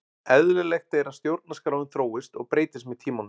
Eðlilegt er að stjórnarskráin þróist og breytist með tímanum.